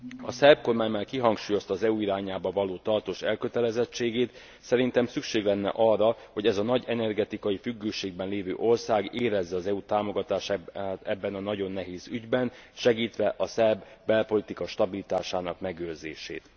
A szerb kormány már kihangsúlyozta az EU irányába való tartós elkötelezettségét, szerintem szükség lenne arra, hogy ez a nagy energetikai függőségben lévő ország érezze az EU támogatását ebben a nagyon nehéz ügyben, segítve a szerb belpolitika stabilitásának megőrzését.